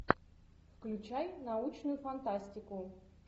включай научную фантастику